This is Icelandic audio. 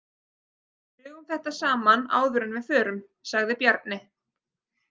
Drögum þetta saman áður en við förum, sagði Bjarni.